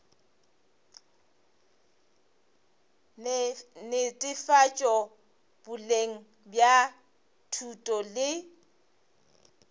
netefatšo boleng bja thuto le